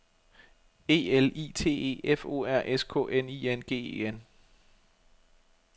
E L I T E F O R S K N I N G E N